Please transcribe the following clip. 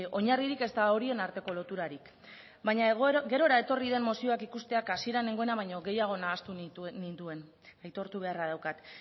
oinarririk ezta horien arteko loturarik baina gerora etorri den mozioak ikusteak hasieran nengoena baino gehiago nahastu ninduen aitortu beharra daukat